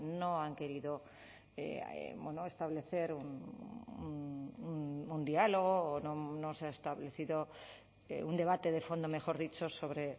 no han querido establecer un diálogo o no se ha establecido un debate de fondo mejor dicho sobre